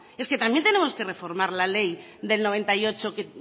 es que también tenemos que reformar la ley del noventa y ocho que